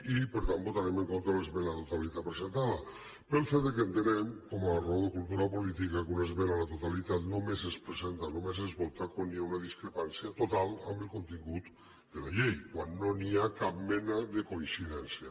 i per tant votarem en contra de l’esmena a la totalitat presentada pel fet que entenem com a raó de cultura política que una esmena a la totalitat només es presenta només es vota quan hi ha una discrepància total amb el contingut de la llei quan no hi ha cap mena de coincidència